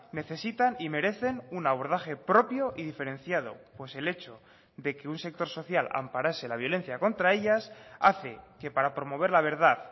necesitan y merecen un abordaje propio y diferenciado pues el hecho de que un sector social amparase la violencia contra ellas hace que para promover la verdad